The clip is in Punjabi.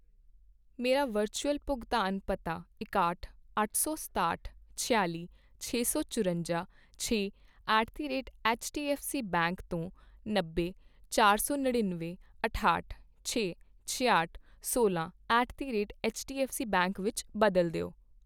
ਮੇਰਾ ਵਰਚੁਅਲ ਭੁਗਤਾਨ ਪਤਾ ਇਕਾਹਠ, ਅੱਠ ਸੌ ਸਤਾਹਠ, ਛਿਆਲੀ, ਛੇ ਸੌ ਚੁਰੰਜਾ, ਛੇ at the rate HDFC bank ਤੋਂ ਨੱਬੇ, ਚਾਰ ਸੌ ਨੜਿੱਨਵੇਂ, ਅਠਾਹਠ, ਛੇ, ਛਿਆਹਠ, ਸੋਲ੍ਹਾਂ at the rate HDFC bank ਵਿੱਚ ਬਦਲ ਦਿਓ